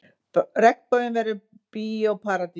Regnboginn verður Bíó Paradís